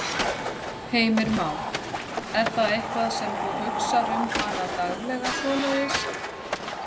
Heimir Már: Er það eitthvað sem þú hugsar um hana daglega svoleiðis?